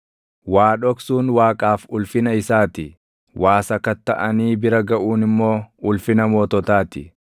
Waa dhoksuun Waaqaaf ulfina isaa ti; waa sakattaʼanii bira gaʼuun immoo ulfina moototaa ti.